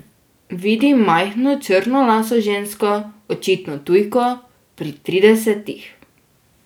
Vidi majhno črnolaso žensko, očitno tujko, pri tridesetih.